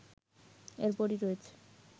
এরপরই রয়েছে